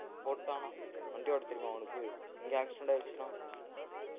போட்டானா வண்டி ஓட்டத் தெரியுமா அவனுக்கு எங்கயோ accident ஆயிருச்சுனா